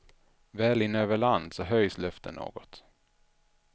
Väl inne över land så höjs luften något.